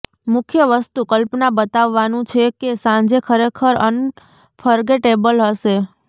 મુખ્ય વસ્તુ કલ્પના બતાવવાનું છે કે સાંજે ખરેખર અનફર્ગેટેબલ હશે